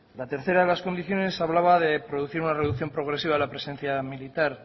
la tercera de las condiciones hablaba de producir una reducción progresiva de la presencia militar